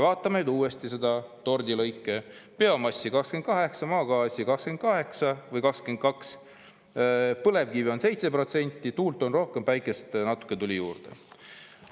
Vaatame nüüd uuesti neid tordilõike: biomass 28%, maagaas 22%, põlevkivi 7%, tuult on rohkem, päikest natuke tuli juurde.